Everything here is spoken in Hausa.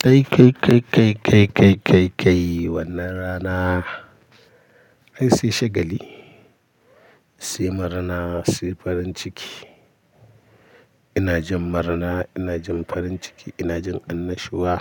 Kai, kai, kai, kai, kai, kai, kai, kai wannan rana. Ai sai shagali, sai murna, sai farin ciki. Ina jin murna, ina jin farin ciki, ina jin annashuwa.